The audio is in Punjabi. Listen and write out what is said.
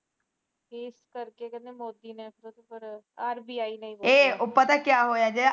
ਉਹ ਪਤਾ ਕਿਆ ਹੋਇਆ ਜਿਹੜਾ